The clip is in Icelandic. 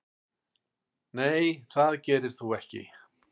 Nei það gerir þú ekki.